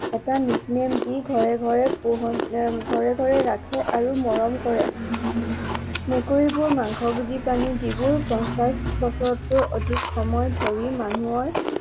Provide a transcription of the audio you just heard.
এটা nickname দি ঘৰে ঘৰে পোহনীয়া, ঘৰে ঘৰে ৰাখে আৰু মৰম কৰে। মেকুৰীবোৰ মাংস ভোজী প্ৰাণী যিবোৰ পঞ্চাশ বছৰতকৈও অধিক সময় ধৰি মানুহৰ